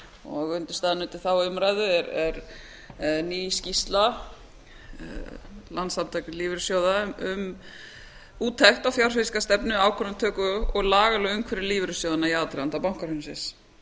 lífeyrissjóðanna undirstaðan undir þá umræðu er ný skýrsla landssamtaka lífeyrissjóða um úttekt á fjárfestingarstefnu ákvörðunartöku og lagalegt umhverfi lífeyrissjóðanna í aðdraganda bankahrunsins